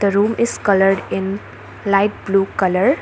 room is coloured in light blue colour.